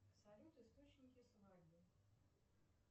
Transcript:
салют источники свадьбы